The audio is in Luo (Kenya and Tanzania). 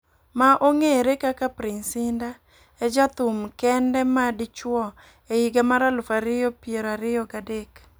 ma ongere kaka Prince Indah e ja thum kende ma dichuo e higa mar aluf ariyo piero ariyo ga dek.